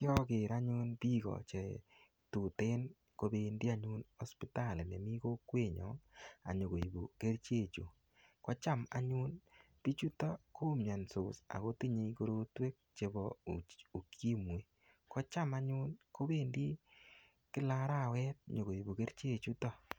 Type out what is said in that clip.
Yaker anyun biko chetutin kobendi anyun hospitali nemi kokwenyo anyikoibu keriche chu kocham anyun bichuto komionsot akotinyei korotwek chebo ukimwi kocham anyun kobendi kila arawet nyikoibu keriche chuto